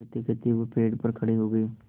कहतेकहते वह पेड़ पर खड़े हो गए